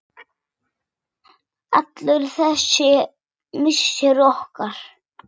Allur þessi missir okkar.